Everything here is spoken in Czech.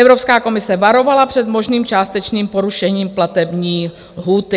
Evropská komise varovala před možným částečným porušením platební lhůty.